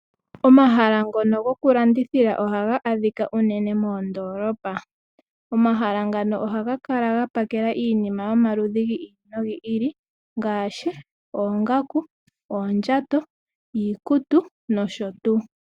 Omahala ngono goku landithila ohaga adhika unene moondoolopa. Omahala ngano ohaga kala ga pakela iinima yomaludhi gi ili nogi ili, ngaashi oongaku, oondjato, iikutu nosho tuu.